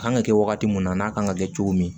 A kan ka kɛ wagati min na n'a kan ka kɛ cogo min